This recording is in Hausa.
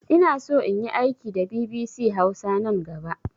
Inaso inyi aiki da bibisi hausa nan gaba